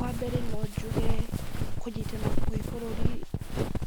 Wambere no njuge kũnyitana kwĩ bũrũri